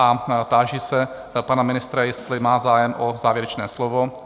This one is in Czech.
A táži se pana ministra, jestli má zájem o závěrečné slovo?